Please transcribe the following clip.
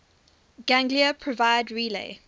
ganglia provide relay